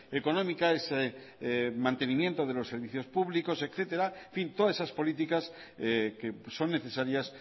económica ese mantenimiento de los servicios públicos etcétera en fin todas esas políticas que son necesarias